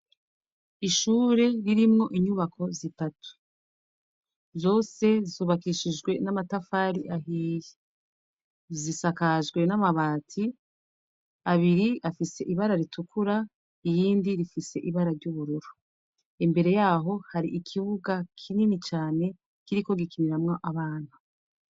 Ishure ririmwo inyubako zitatu zose zubakishijwe n'amatafari ahihe zisakajwe n'amabati abiri afise ibara ritukura iyindi rifise ibara ry'ubururo imbere yaho hari ikibuga kinini cane kiriko gikiniramwo abantu.